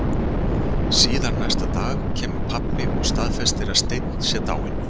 Síðar næsta dag kemur pabbi og staðfestir að Steinn sé dáinn.